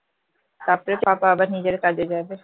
তারপরে papa আবার নিজের কাজে যাবে